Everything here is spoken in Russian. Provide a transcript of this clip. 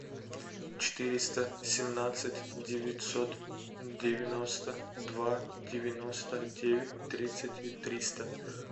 четыреста семнадцать девятьсот девяносто два девяносто девять тридцать триста